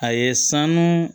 A ye sanu